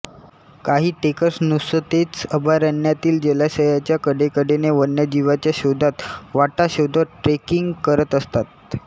काही ट्रेकर्स नुसतेच अभयारण्यातील जलाशयाच्या कडेकडेने वन्यजीवांच्या शोधात वाटा शोधत ट्रेकिंग करत असतात